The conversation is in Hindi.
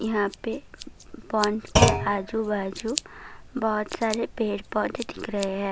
यहां पे कंपाउंड के आजू बाजू बहोत सारे पेड़ पौधे दिख रहे हैं।